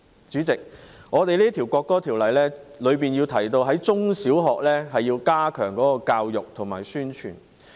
主席，《條例草案》提到要在中小學加強教育和宣傳。